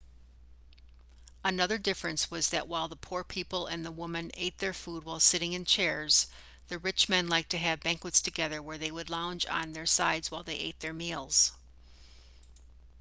another difference was that while the poor people and the woman ate their food while sitting in chairs the rich men liked to have banquets together where they would lounge on their sides while they ate their meals